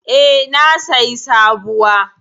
E, na sayi sabuwa.